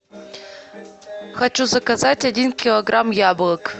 хочу заказать один килограмм яблок